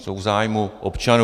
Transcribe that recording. Jsou v zájmu občanů.